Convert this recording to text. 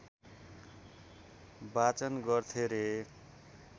वाचन गर्थे रे